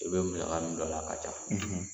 I bɛ musaka min don a la a ka ca